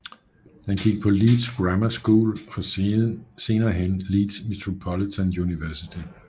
Han gik på Leeds Grammar School og senere hen Leeds Metropolitan Unversity